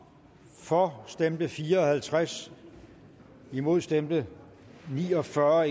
for stemte fire og halvtreds imod stemte ni og fyrre